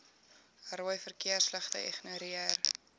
rooi verkeersligte ignoreer